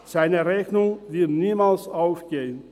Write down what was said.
Seine Rechnung wird niemals aufgehen.